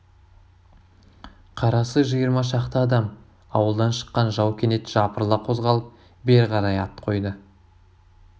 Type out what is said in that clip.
қарасы жиырма шақты адам ауылдан шыққан жау кенет жапырыла қозғалып бері қарай ат қойды